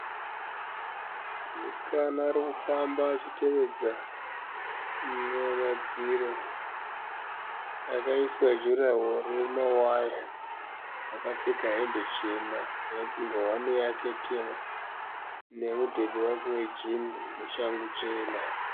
Musikana arikufamba achitevedza madziro, akaiswa juraworo remawaya akapfeka hembe chena nengowani yake tema, nemudhebhe wake wejini neshangu chena.